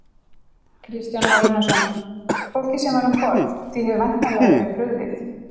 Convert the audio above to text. Kristján Már Unnarsson: Fólkið sem var um borð, því hefur væntanlega verið brugðið?